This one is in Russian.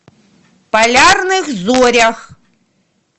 полярных зорях